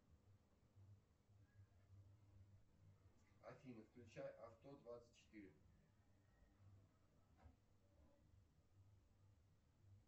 афина включай авто двадцать четыре